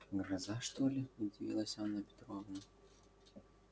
гроза что ли удивилась анна петровна